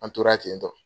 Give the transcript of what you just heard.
An tora ten tɔ